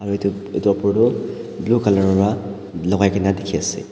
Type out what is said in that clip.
aru edu edu opor tu blue colour wra lakai kaena dikhiase.